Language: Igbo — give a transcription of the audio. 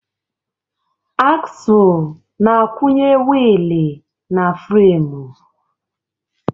Aksụl na-akwụnye wiili na fremu.